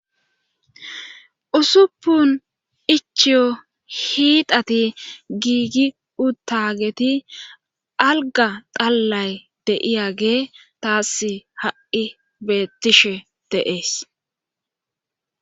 Usuppun ichiyo hiidati giigi uttageti alga dallay deiyagee taas ha'i beettishe deees.